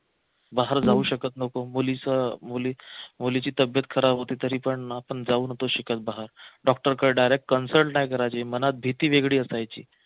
बाहेर जाऊ शकत नव्हतो मुलीचं अं मुलीचं मुलीची तब्बेत खराब होती तरी पण आपण जाऊ नव्हतो शकत बाहेर doctor कड direct consult काय करायचं ही मनात भीती वेगळी असायची